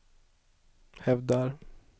hävdar